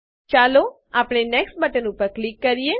ચાલો આપણે next button ઉપર ક્લિક કરીએ